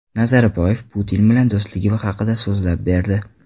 Nazarboyev Putin bilan do‘stligi haqida so‘zlab berdi.